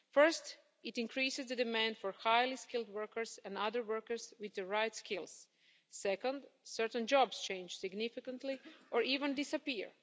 First, it increases the demand for highly skilled workers and other workers with the right skills. Second, certain jobs change significantly or even disappear.